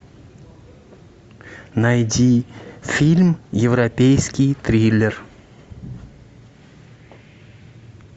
найди фильм европейский триллер